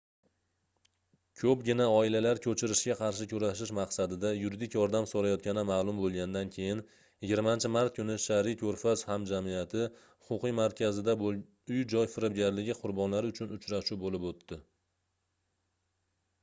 koʻpgina oilalar koʻchirishga qarshi kurashish maqsadida yuridik yordam soʻrayotgani maʼlum boʻlganidan keyin 20-mart kuni shariy koʻrfaz hamjamiyati huquqiy markazida uy-joy firibgarligi qurbonlari uchun uchrashuv boʻlib oʻtdi